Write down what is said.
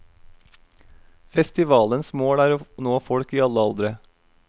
Festivalens mål er å nå folk i alle aldre.